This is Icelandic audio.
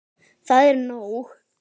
Það er nóg.